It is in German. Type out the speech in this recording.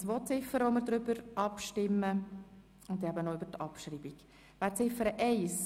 Hier stimmen wir über zwei Ziffern ab sowie über die Abschreibung von Ziffer 2.